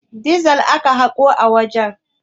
Dizel aka haƙo a wajen.